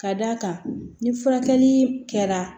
Ka d'a kan ni furakɛli kɛra